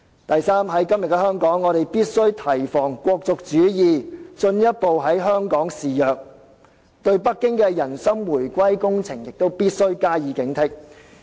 第三，今天我們必須提防"國族主義"進一步在香港肆虐，對北京的"人心回歸工程"也必須加以警惕。